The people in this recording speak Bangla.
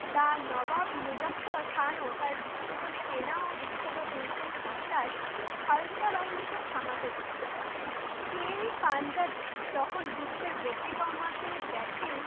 The নবাব মুজাপ্পর খান ও বিখ্যাত সেনা ও বিখ্যাত দুর্ঘের বর্শায় খালতা বাহিনীকে থামাতে চান। তেরি পাঞ্জাব তখন যুদ্ধের গতি কমাতে দেখেন